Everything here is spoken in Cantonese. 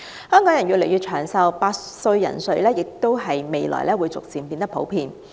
香港人越來越長壽，百歲人瑞將於未來變得越來越普遍。